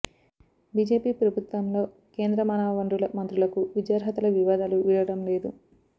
BJP ప్రభుత్వంలో కేంద్ర మానవ వనరుల మంత్రులకు విద్యార్హతల వివాదాలు వీడడం లేదు